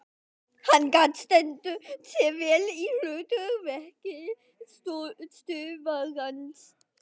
Hann stendur sig vel í hlut verki töffarans.